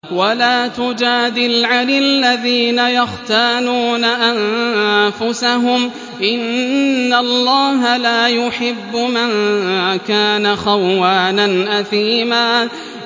وَلَا تُجَادِلْ عَنِ الَّذِينَ يَخْتَانُونَ أَنفُسَهُمْ ۚ إِنَّ اللَّهَ لَا يُحِبُّ مَن كَانَ خَوَّانًا أَثِيمًا